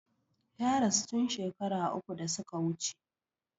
Ya rasu tun shakara uku da su ka wuce.